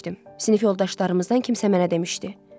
Sinif yoldaşlarımızdan kimsə mənə demişdi.